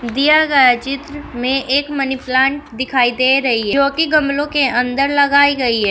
दिया गया चित्र में एक मनी प्लांट दिखाई दे रही है जो कि गमलों के अंदर लगाई गई है।